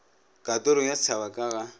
kantoro ya setšhaba ka ga